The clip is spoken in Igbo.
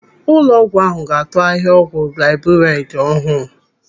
Ụlọọgwụ ahụ ga-atụ ahịa ọgwụ gliburaidi ọhụụ.